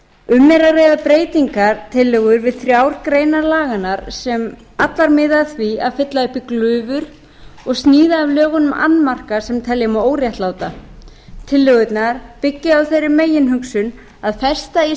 um er að ræða breytingartillögur við þrjár greinar laganna sem allar miða að því að fylla upp í glufur og sníða af lögunum annmarka sem telja má óréttláta tillögurnar byggja á þeirri meginhugsun að festa í